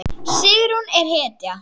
Sigrún er hetja!